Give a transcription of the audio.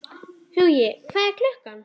Hugi, hvað er klukkan?